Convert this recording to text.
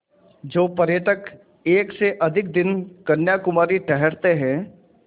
जो पर्यटक एक से अधिक दिन कन्याकुमारी ठहरते हैं